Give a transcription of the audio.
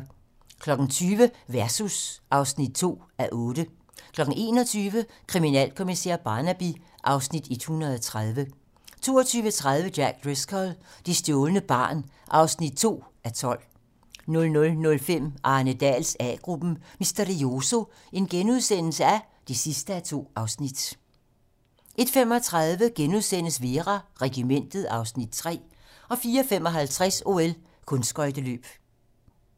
20:00: Versus (2:8) 21:00: Kriminalkommissær Barnaby (Afs. 130) 22:30: Jack Driscoll - det stjålne barn (2:12) 00:05: Arne Dahls A-gruppen: Misterioso (2:2)* 01:35: Vera: Regimentet (Afs. 3)* 04:55: OL: Kunstskøjteløb